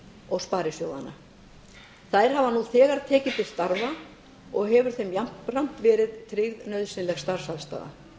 og sparisjóðanna þær hafa nú þegar tekið til starfa og hefur þeim jafnframt verið tryggð nauðsynleg starfsaðstaða